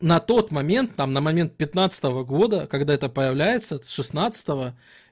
на тот момент там на момент пятнадцатого года когда это появляется с шестнадцатого